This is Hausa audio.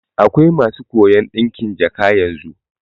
Akwai masu koyan ɗinkin jaka yanzu